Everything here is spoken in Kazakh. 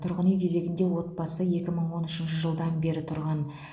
тұрғын үй кезегінде отбасы екі мың он үшінші жылдан бері тұрған